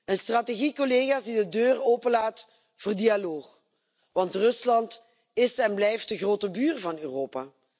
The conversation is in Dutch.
Een strategie die de deur openlaat voor dialoog, want Rusland is en blijft de grote buur van Europa.